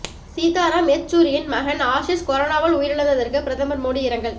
சீதாராம் யெச்சூரியின் மகன் ஆஷிஷ் கொரோனாவால் உயிரிழந்ததற்கு பிரதமர் மோடி இரங்கல்